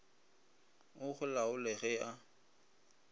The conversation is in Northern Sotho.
o go laole ge a